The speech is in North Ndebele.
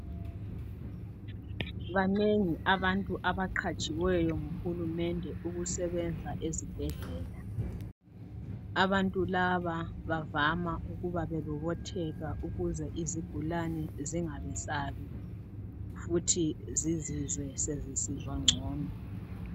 Banengi abantu abagqatshiweyo nguhulumende ukusebenza ezibhedlela. Abantu laba bavama ukuba bebobotheka ukuze izigulane zingabesabi, futhi zizizwe sezisizwa ngcono.